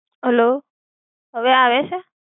Hello. હવે આવે છે?